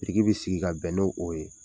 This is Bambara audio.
Biriki bi sigi ka bɛn n'o o ye.